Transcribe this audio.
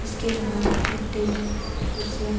इसके बाहर एक टेबल कुर्सियाँ--